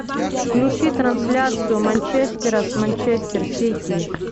включи трансляцию манчестера с манчестер сити